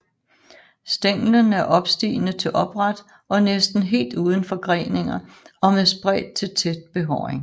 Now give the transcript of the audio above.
Stænglen er opstigende til opret og næsten helt uden forgreninger og med spredt til tæt behåring